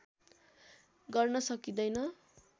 गर्न सकिँदैन